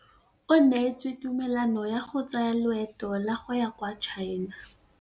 O neetswe tumalanô ya go tsaya loetô la go ya kwa China.